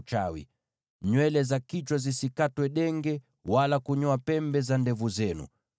“ ‘Msikate nywele za kichwa denge, wala kunyoa pembe za ndevu zenu.